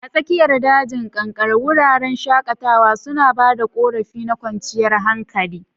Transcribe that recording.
A tsakiyar dajin kankare, wuraren shakatawa suna ba da ƙorafi na kwanciyar hankali.